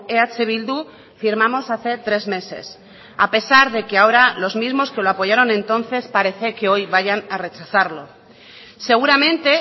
eh bildu firmamos hace tres meses a pesar de que ahora los mismos que lo apoyaron entonces parece que hoy vayan a rechazarlo seguramente